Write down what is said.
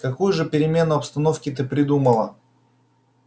какую же перемену обстановки ты придумала